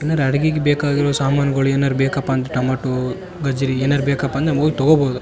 ಏನಾರ ಅಡಿಗೆಗ್ ಬೇಕಾಗಿರೋ ಸಾಮಾನ್ಗಳ್ ಏನಾದ್ರು ಬೇಕಪ್ಪ ಅಂದ್ರ್ ಟಮಾಟೋ ಗಜ್ರೀ ಏನಾದ್ರು ಬೇಕಪ್ಪ ಅಂದ್ರೆ ಹೋಗ್ ತಗೋಬಹುದು.